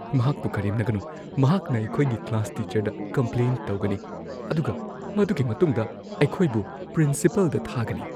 ꯃꯍꯥꯛꯄꯨ ꯀꯔꯦꯝꯅꯒꯅꯨ꯫ ꯃꯍꯥꯛꯅ ꯑꯩꯈꯣꯏꯒꯤ ꯀ꯭ꯂꯥꯁ ꯇꯤꯆꯔꯗ ꯀꯝꯄ꯭ꯂꯦꯟ ꯇꯧꯒꯅꯤ ꯑꯗꯨꯒ ꯃꯗꯨꯒꯤ ꯃꯇꯨꯡꯗ ꯑꯩꯈꯣꯏꯕꯨ ꯄ꯭ꯔꯤꯟꯁꯤꯄꯥꯜꯗ ꯊꯥꯒꯅꯤ ꯫